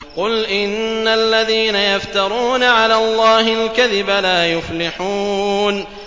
قُلْ إِنَّ الَّذِينَ يَفْتَرُونَ عَلَى اللَّهِ الْكَذِبَ لَا يُفْلِحُونَ